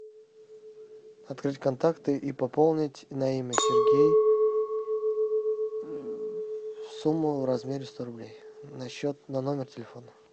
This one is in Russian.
открыть контакты и пополнить на имя сергей сумму в размере сто рублей на счет на номер телефона